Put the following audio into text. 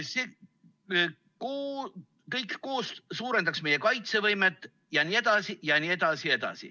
See kõik koos suurendaks meie kaitsevõimet jne.